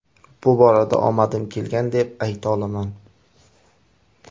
Bu borada omadim kelgan, deb ayta olaman.